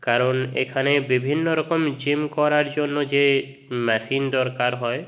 কারণ এখানে বিভিন্ন রকম জিম করার জন্য যে মেশিন দরকার হয়।